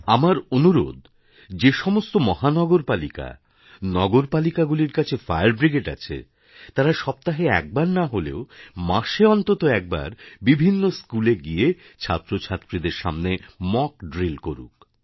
আমার অনুরোধ যে সমস্ত মহানগরপালিকা নগরপালিকাগুলির কাছে ফায়ার ব্রিগেড আছে তারা সপ্তাহে একবার না হলেও মাসে অন্তত একবার বিভিন্ন স্কুলে গিয়ে ছাত্র ছাত্রীদের সামনে মক ড্রিল করুক